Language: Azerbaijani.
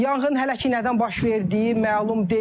Yanğın hələ ki nədən baş verdiyi məlum deyil.